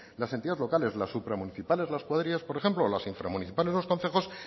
las entidades locales las supramunicipales las cuadrillas por ejemplo o las inframunicipales o los concejos